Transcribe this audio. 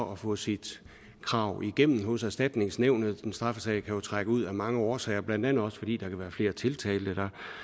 at få sit krav igennem hos erstatningsnævnet en straffesag kan jo trække ud af mange årsager blandt andet fordi der kan være flere tiltalte